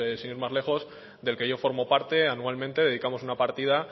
sin ir más lejos del que yo formo parte anualmente dedicamos una partida